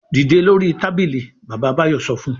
"Dìde lórí tábìlì! Bàbá Báyọ̀ sọ fún un.